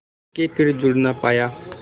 के फिर जुड़ ना पाया